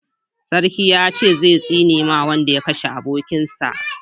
Sarki ya ce zai tsine ma wanda ya kashe abokin sa